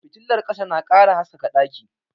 Fitilar ƙasa na ƙara haskaka ɗaki